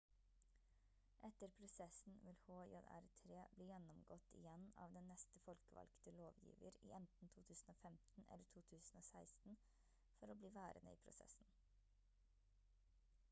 etter prosessen vil hjr-3 bli gjennomgått igjen av den neste folkevalgte lovgiver i enten 2015 eller 2016 for å bli værende i prosessen